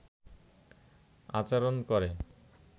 আচরন করে